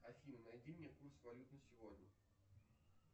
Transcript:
афина найди мне курс валют на сегодня